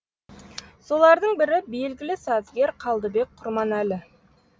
солардың бірі белгілі сазгер қалдыбек құрманәлі